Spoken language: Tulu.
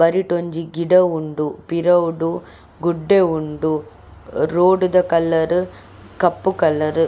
ಬರಿಟ್ ಒಂಜಿ ಗಿಡ ಉಂಡು ಪಿರವುಡು ಗುಡ್ಡೆ ಉಂಡು ರೋಡ್ ದ ಕಲರ್ ಕಪ್ಪು ಕಲರ್ .